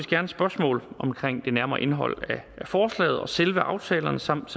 gerne spørgsmål om det nærmere indhold af forslaget og selve aftalerne samt